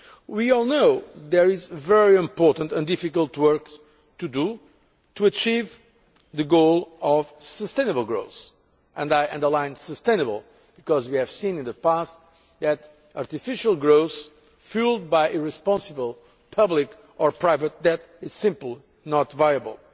We all know that there is very important and difficult work to do to achieve the goal of sustainable growth, and I underline sustainable because we have seen in the past that artificial growth fuelled by irresponsible public or private debt is simply not viable.